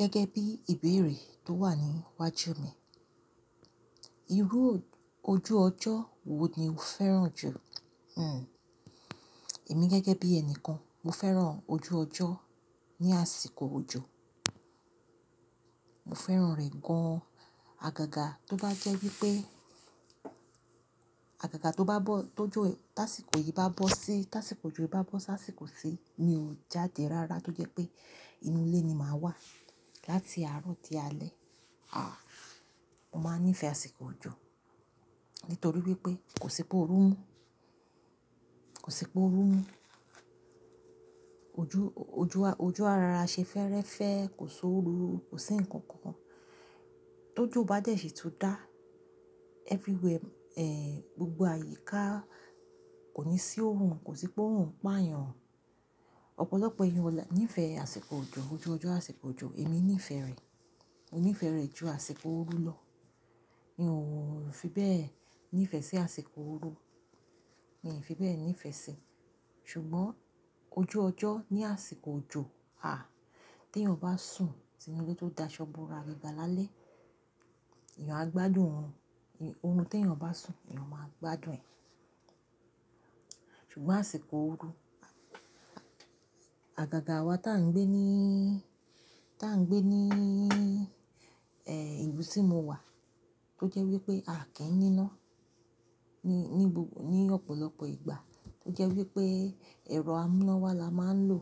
Gẹ́gẹ́ bí ìbéèrè tó wà níwájú mi, irú ojú ọjọ́ wo ni o fẹ́ràn jù? Hmm, èmi gẹ́gẹ́ bí ẹnìkan, mo fẹ́ràn ojú ọjọ́ ní àsìkò òjò. Mo fẹ́ràn rẹ̀ gan-an. Àgàgà tó bá jẹ́ wípé, àgàgà tó bá bọ́, tó jó, táìsìkò yìí bá bọ́ sí, táìsìkò òjò bá bọ́ sáà sìkò sí, mi ò jáde rárá tó jẹ́ pé inú ilé ni màá wà láti àárọ̀ di alẹ́. Àh, mo máa nífẹ̀ẹ́ àsìkò òjò nítorí wípé kò sí pé óru mú, kò sí pé óru mú. Ojú, ojú, ojú arara ṣe fẹ́rẹ́fẹ́, kò sóru, kò sí ǹkan kan kan. Tó jó bá jẹ́ ṣì tó dá, everywhere, eh, gbogbo àyíká kò ní sí óru, kò sí pé óru ń pa èèyàn. Ọ̀pọ̀lọpọ̀ èèyàn wà ní ìfẹ́ àsìkò òjò, ojú ọjọ́ àsìkò òjò, èmi nífẹ̀ẹ́ rẹ̀. Mo nífẹ̀ẹ́ rẹ̀ ju àsìkò òru lọ. Mi ò fi bẹ́ẹ̀ nífẹ̀ẹ́ sí àsìkò òru. Mi ò fi bẹ́ẹ̀ nífẹ̀ẹ́ sí. Ṣùgbọ́n ojú ọjọ́ ní àsìkò òjò, àh, tí èèyàn bá sùn, tí inú ilé tó da ṣọ́bùrà gíga lálẹ́, èèyàn á gbádùn oorun. Oorun tí èèyàn bá sùn, èèyàn máa gbádùn ẹ̀. Ṣùgbọ́n àsìkò òru, àgàgà àwa tí à ń gbé níí, tí à ń gbé níí, eh, ìlú tí mo wà tó jẹ́ wípé a kì í ní iná ní, ní gbogbo, ní ọ̀pọ̀lọpọ̀ ìgbà tó jẹ́ wípé ẹ̀rọ amúnáwá la máa ń lò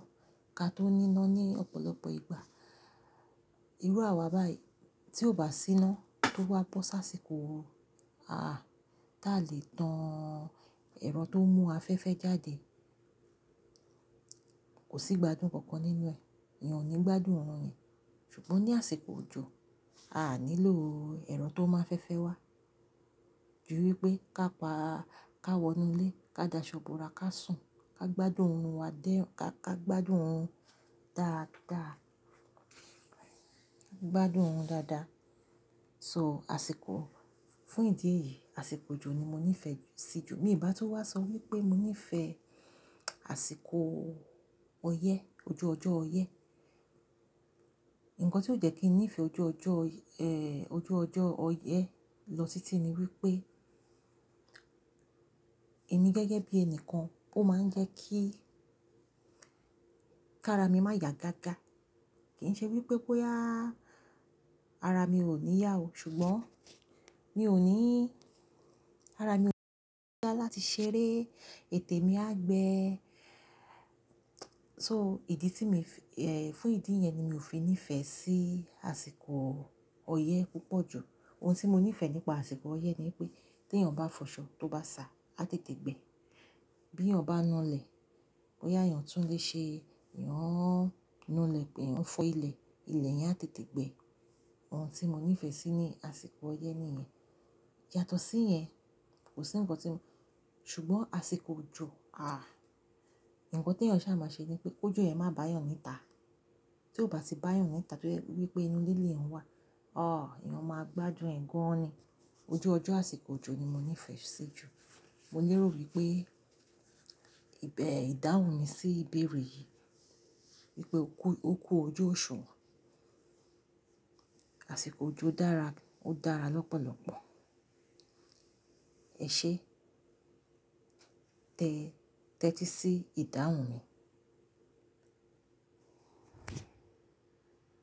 ká tó ní iná ní ọ̀pọ̀lọpọ̀ ìgbà. Irú àwa báyìí tí ó bá sí iná tó wá bọ́ sáà sìkò òru, àh, táa lè tan ẹ̀rọ tó ń mú afẹ́fẹ́ jáde, kò sí igbádùn kankan nínú rẹ̀. Ẹ̀yàn ò ní gbádùn oorun yẹn. Ṣùgbọ́n ní àsìkò òjò, a à nílò ẹ̀rọ tó máa ń fẹ́fẹ́ wá ju wípé ká pa, ká wọnú ilé, ká da ṣọ́bùrà, ká sùn, ká gbádùn oorun wa dé, ká, ká gbádùn òorun dáadáa. Ká gbádùn òorun dáadáa. So àsìkò, fún ìdí èyí, àsìkò òjò ni mo nífẹ̀ẹ́ sí jù. Bí ìbá tó wá sọ wípé mo nífẹ̀ẹ́ àsìkò ọyẹ́, ojú ọjọ́ ọyẹ́, ǹkan tí ó jẹ́ kí nífẹ̀ẹ́ ojú ọjọ́, eh, ojú ọjọ́ ọyẹ́ lọ sí titi ni wípé èmi gẹ́gẹ́ bí ẹni kan ó máa ń jẹ́ kí, ká ara mi má ya gágá. Kì í ṣe wípé bóyá ara mi ò ní yá o, ṣùgbọ́n mi ò ní, ara mi ò ní yá láti ṣeré, ètè mi á gbẹ. So ìdí tí mi, eh, fún ìdí yẹn ni mi ò fi nífẹ̀ẹ́ sí àsìkò ọyẹ́ púpọ̀ jù. Ohun tí mo nífẹ̀ẹ́ nípa àsìkò ọyẹ́ ni wípé tí èèyàn bá fọ̀ṣọ́, tó bá sá, á tètè gbẹ. Bí èèyàn bá na lẹ̀, bóyá èèyàn tún lè ṣe, èèyan nu lẹ̀ èèyan fọ́ ilẹ̀, ilẹ̀ yẹn á tètè gbẹ. Ohun tí mo nífẹ̀ẹ́ sí ní àsìkò ọyẹ́ nìyẹn. Yátọ̀ sí yẹn, kò sí ǹkan tí n-- ṣùgbọ́n àsìkò òjò, àh, ǹkan tí èèyàn ṣá má ṣe ni pé ojú rẹ̀ má bá èèyàn níta. Tí ó bá ti bá èèyàn níta tó jẹ́ wípé inú ilé rẹ̀ ń wà, òh, èèyàn máa gbádùn ẹ̀ gan-an ni. Ojú ọjọ́ àsìkò òjò ni mo nífẹ̀ẹ́ sí jù. Mo lérò wípé ìbẹ ìdáhùn mi sí ìbéèrè yìí wípé òkú, òkú ojú òṣùwọ̀n. Àsìkò òjò dára, ó dára lọ́pọ̀lọ́pọ̀. Ẹ̀ṣé, tẹ́, tẹ́tí sí ìdáhùn mi.